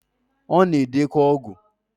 Ona edekwa ogwu.